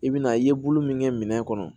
I bɛna i ye bolo min kɛ minɛn kɔnɔ